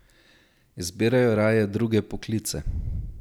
Izbirajo raje druge poklice.